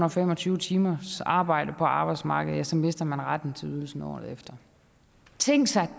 og fem og tyve timers arbejde på arbejdsmarkedet ja så mister man retten til ydelsen året efter tænk sig